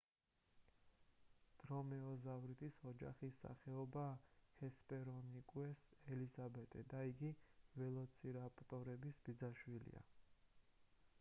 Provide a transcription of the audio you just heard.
დრომეოზავრიდის ოჯახის სახეობაა ჰესპერონიკუს ელიზაბეტე და იგი ველოცირაპტორების ბიძაშვილია